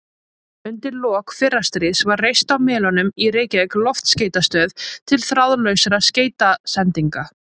Undir lok fyrra stríðs var reist á Melunum í Reykjavík loftskeytastöð til þráðlausra skeytasendinga.